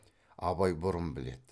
абай бұрын біледі